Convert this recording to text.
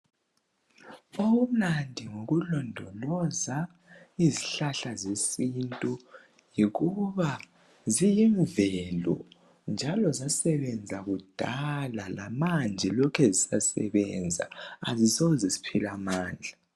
Okumnandi ngokulondoloza izihlahla zesintu yikuba ziyimvelo njalo zasebenza kudala lamanje lokhe zisasebenza azisoze ziphele amandla.